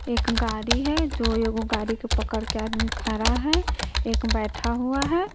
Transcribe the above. एक गाड़ी है जो गाड़ी के पकड़ के आदमी खरा है एक बैठा हुआ है।